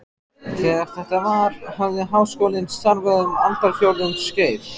Þegar þetta var, hafði Háskólinn starfað um aldarfjórðungs skeið.